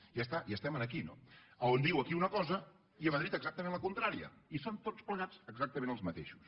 i ja està ja som aquí no on diu aquí una cosa i a madrid exactament la contrària i són tots plegats exactament els mateixos